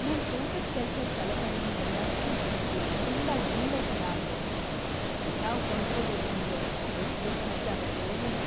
ನನ್ ತೋಟದ್ ಕೆಲ್ಸದ್‌ ಸಲಕರಣೆ ಎಲ್ಲ ತುಕ್ಕ್ ಹಿಡ್ದು ತುಂಡಾಗ್‌ ಬೀಳೋ ಥರ ಆಗಿವೆ. ಹೊಸಾವ್ ಕೊಂಡ್ಕೊಬೇಕೂಂದ್ರೆ ಅದೆಷ್ಟ್‌ ದುಡ್ಡ್ ಖರ್ಚಾಗತ್ತೋ ಏನೋ.